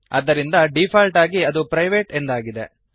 ಆದ್ದರಿಂದ ಡೀಫಾಲ್ಟ್ ಆಗಿ ಅದು ಪ್ರೈವೇಟ್ ಎಂದಾಗಿದೆ